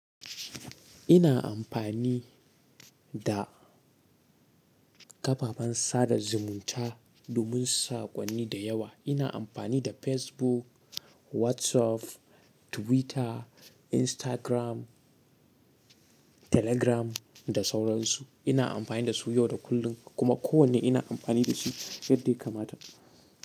Ina amfani da kafafen sada zumunta domin saƙonni da yawa. Ina amfani da Facebook, WhatsApp, Twitter, Instagram, Telegram da sauran su. Ina amfani da su yau da kullum kuma kowane ina amfani da shi yadda ya kamata.